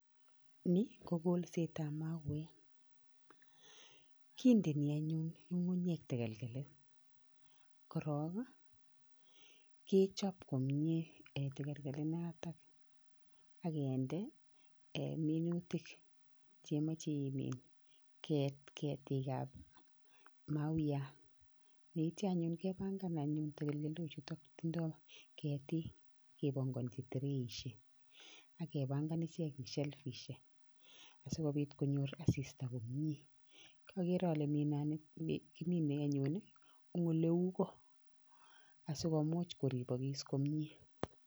Ni kokolsetab mauek kindini anyun ng'ung'unyek takalkalit korong kechop komie en tokolkolit notok akende minutik chemoche imin ketikab mauyat, yeitia anyun kepangan anyun tokolkolochuto tindoo ketik kepongonchi tirisho akepanga ichek en selifishek, asikopit konyor asista komie akere ale kimine anyun eng oleu ko asikomuch koripokis komie.